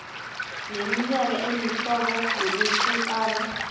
neminye imihlobo yokuhlukana